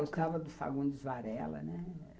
Ah, eu gostava do Fagundes Varela, né?